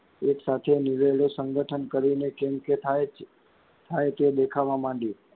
એક સાચે નીરે નીરે સંગઠન કરીને કેમ કે થાય જ થાય તો દેખાવાં માંડીએ,